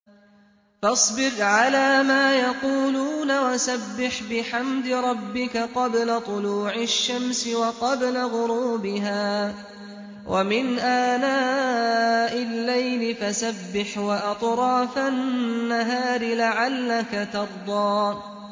فَاصْبِرْ عَلَىٰ مَا يَقُولُونَ وَسَبِّحْ بِحَمْدِ رَبِّكَ قَبْلَ طُلُوعِ الشَّمْسِ وَقَبْلَ غُرُوبِهَا ۖ وَمِنْ آنَاءِ اللَّيْلِ فَسَبِّحْ وَأَطْرَافَ النَّهَارِ لَعَلَّكَ تَرْضَىٰ